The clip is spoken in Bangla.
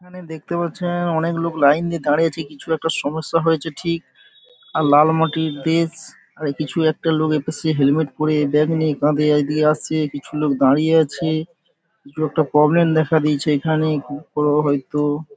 এখানে দেখতে পাচ্ছেন অনেক লোক লাইন দিয়ে দাঁড়িয়ে আছে কিছু একটা সমস্যা হয়েছে ঠিক আর লাল মাটির দেশ আর কিছু একটা লোক এপাশে হেলমেট পরে ব্যাগ নিয়ে কাঁধে এদিকে আসছে কিছু লোক দাঁড়িয়ে আছে কিছু একটা প্রব্লেম দেখা দিয়েছে এখানে খুব বড় হয়তো ।